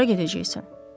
Hara gedəcəksən?